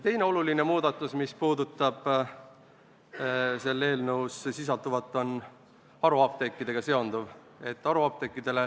Teine oluline muudatus, mis puudutab selles eelnõus sisalduvat, on haruapteekidega seonduv.